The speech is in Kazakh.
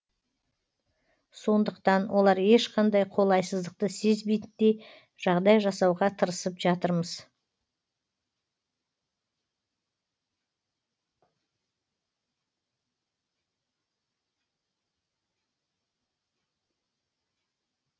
сондықтан олар ешқандай қолайсыздықты сезбейтіндей жағдай жасауға тырысып жатырмыз